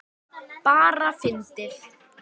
Bara fyndið.